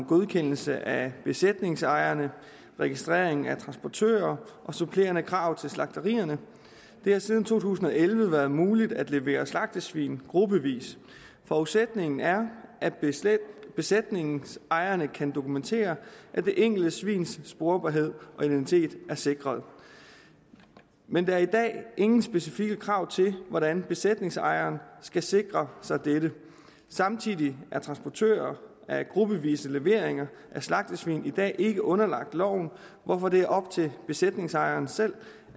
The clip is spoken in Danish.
godkendelse af besætningsejerne registrering af transportører og supplerende krav til slagterierne det har siden to tusind og elleve været muligt at levere slagtesvin gruppevis forudsætningen er at besætningsejerne kan dokumentere at det enkelte svins sporbarhed og identitet er sikret men der er i dag ingen specifikke krav til hvordan besætningsejeren skal sikre sig dette samtidig er transportører af gruppevise leveringer af slagtesvin i dag ikke underlagt loven hvorfor det er op til besætningsejeren selv